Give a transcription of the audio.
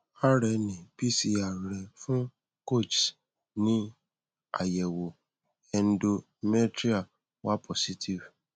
rna pcr rẹ fun kochs ni ayẹwo endometrial wa positive